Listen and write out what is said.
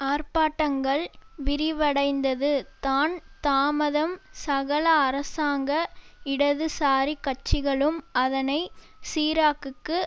ஆர்ப்பாட்டங்கள் விரிவடைந்தது தான் தாமதம் சகல அரசாங்க இடதுசாரிக் கட்சிகளும் அதனை சிராக்குக்கு